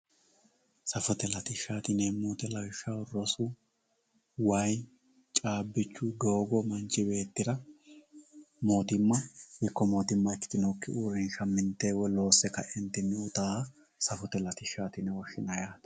safote latishshaati yineemmo woyte lawishshaho rosu way caabbichu doogo manchi beettira mootimma ikko mootimma ikkitinokki uurinsha minte woy loose kae uytannoha safote latishshati yine woshshinanni yaate